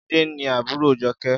Jide ni àbúró Joke